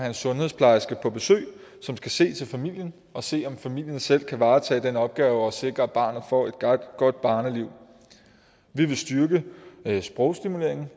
en sundhedsplejerske på besøg som skal se til familien og se om familien selv kan varetage den opgave at sikre at barnet får et godt børneliv vi vil styrke sprogstimuleringen